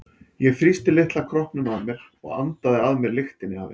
Ég þrýsti litla kroppnum að mér og andaði að mér lyktinni af henni.